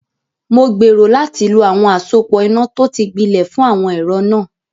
Mo gbèrò láti lo àwọn àsopọ̀ iná tó ti gbilẹ̀ fún àwọn ẹ̀rọ náà.